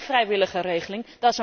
Dat is geen vrijwillige regeling.